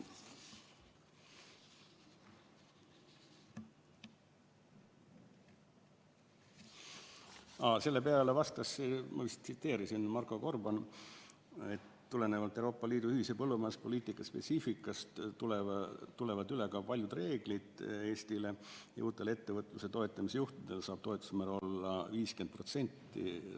Aa, selle peale vastas Marko Gorban, et tulenevalt Euroopa Liidu ühise põllumajanduspoliitika spetsiifikast tulevad üle ka paljud reeglid Eestile ja uutel ettevõtluse toetamise juhtudel saab toetusemäär olla 50%.